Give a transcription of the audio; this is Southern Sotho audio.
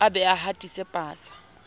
a be a hatise pasa